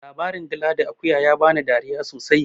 Labarin dila da akuya ya bani dariya sosai.